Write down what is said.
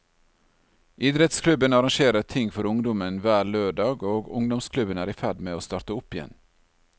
Idrettsklubben arrangerer ting for ungdommen hver lørdag og ungdomsklubben er i ferd med å starte opp igjen.